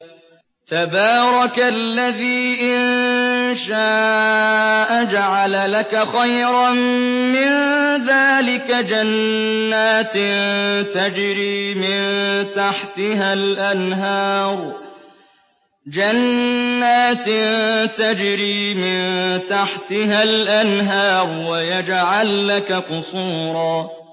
تَبَارَكَ الَّذِي إِن شَاءَ جَعَلَ لَكَ خَيْرًا مِّن ذَٰلِكَ جَنَّاتٍ تَجْرِي مِن تَحْتِهَا الْأَنْهَارُ وَيَجْعَل لَّكَ قُصُورًا